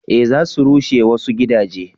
eh za su rushe wasu gidaje